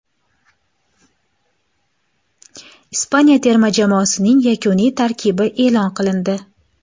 Ispaniya terma jamoasining yakuniy tarkibi e’lon qilindi.